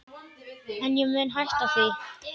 En ég mun hætta því.